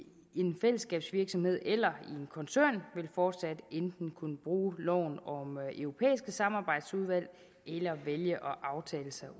en fællesskabsvirksomhed eller i en koncern vil fortsat enten kunne bruge loven om europæiske samarbejdsudvalg eller vælge at aftale sig ud